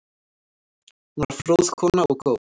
Hún var fróð kona og góð.